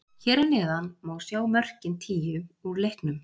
Hér að neðan má sjá mörkin tíu úr leiknum.